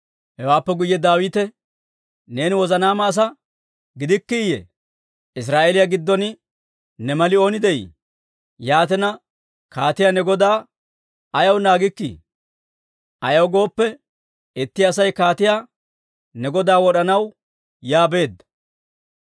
Hewaappe guyye Daawite, «Neeni wozanaama asaa gidikkiiyye? Israa'eeliyaa giddon ne mali ooni de'ii? Yaatina, kaatiyaa ne godaa ayaw naagikkii? Ayaw gooppe, itti Asay kaatiyaa ne godaa wod'anaw yaa beedda.